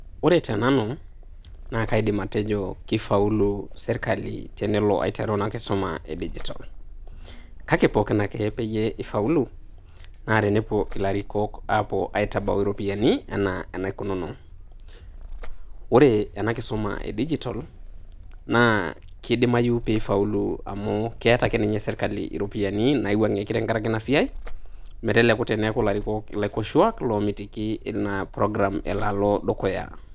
Ore teanu naa kaidim atejo keifaulu serkali tenelo aiteru ina kisuma naa e digitol, kake pookin ake peiye eifaulu naa tenepuo ilarikok apuo aitabau iropiani anaa enaikununo. Ore ena kisuma e dijitol naa keidimayu pee eifaulu amu keeta ake iyie serkali iropiani naiwangie tenkara ake ina siai, meteleku ilarikok ilaikoshua loomitiki ina program elo aalo dukuya.